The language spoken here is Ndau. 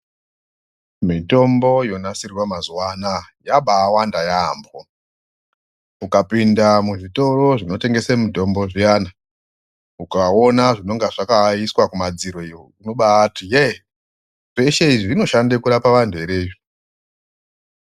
Mitombo yonasirwa mazuwa anaya, yabaawanda yaampho, ukapinda muzvitoro zvinotengese mitombo zviyana, ukaona zvinenge zvakaiswa kumadziro iyo unobaati,"Yee, zveshe izvi zvinoshande kurapa antu ere izvi ."